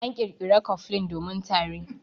An ƙirƙira cofflin domin tari.